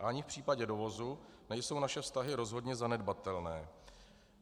A ani v případě dovozu nejsou naše vztahy rozhodně zanedbatelné.